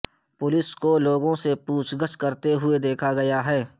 police کو لوگوں سے پوچھ گچھ کرتے ہوئے دیکھا گیا ہے